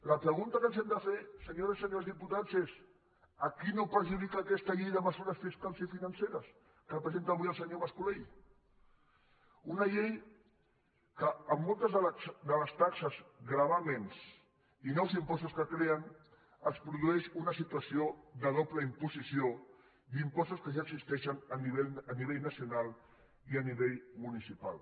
la pregunta que ens hem de fer senyores i senyors diputats és a qui no perjudica aquesta llei de mesures fiscals i financeres que presenta avui el senyor mascolell una llei que en moltes de les taxes gravàmens i nous impostos que creen es produeix una situació de doble imposició d’impostos que ja existeixen a nivell nacional i a nivell municipal